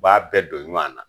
B'a bɛɛ don ɲɔn na.